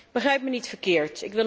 Begrijp me niet verkeerd.